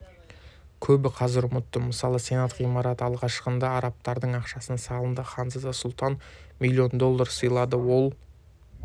көбі қазір ұмытты мысалы сенат ғимараты алғашқыда арабтардың ақшасына салынды ханзада султан миллион доллар сыйлады ол